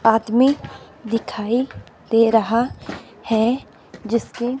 आदमी दिखाई दे रहा है जिसके--